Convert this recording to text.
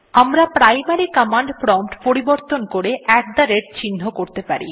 আমরা primary command prompt পরিবর্তন করে আত থে rateltgt চিহ্ন করতে পারি